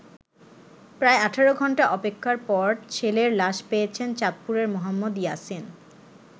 প্রায় ১৮ ঘন্টা অপেক্ষার পর ছেলের লাশ পেয়েছেন চাঁদপুরের মোহাম্মদ ইয়াসিন।